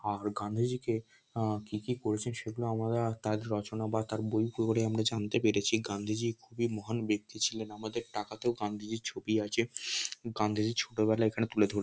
আর গান্ধীজিকে আহ কি কি করেছেন সেগুলো আমরা তার রচনা বা তার বই পড়ে আমরা জানতে পেরেছি গান্ধীজীর খুবই মহান ব্যক্তি ছিলেন আমাদের টাকাতেও গান্ধীজীর ছবি আছে গান্ধীজীর ছোটবেলা এখানে তুলে ধ--